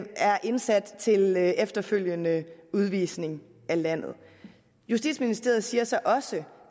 er indsat til efterfølgende udvisning af landet justitsministeriet siger så også